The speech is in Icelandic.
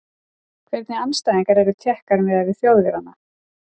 Hvernig andstæðingar eru Tékkar miðað við Þjóðverjana?